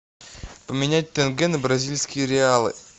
поменять тенге на бразильские реалы